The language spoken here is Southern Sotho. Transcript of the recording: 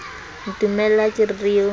ntumella ha ke re o